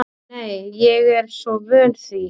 Nei, ég er svo vön því.